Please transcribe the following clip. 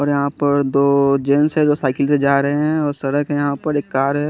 और यहा पर दो जेन्स है जो साईकिल से जा रहे है और सड़क है यहा पर और कार है।